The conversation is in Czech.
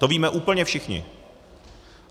To víme úplně všichni.